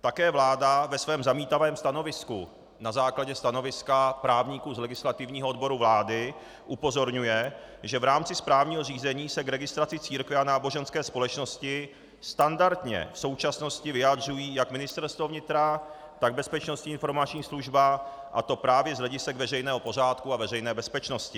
Také vláda ve svém zamítavém stanovisku na základě stanoviska právníků z legislativního odboru vlády upozorňuje, že v rámci správního řízení se k registraci církve a náboženské společnosti standardně v současnosti vyjadřují jak Ministerstvo vnitra, tak Bezpečnostní informační služba, a to právě z hledisek veřejného pořádku a veřejné bezpečnosti.